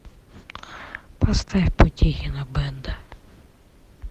поставь потехина бэнда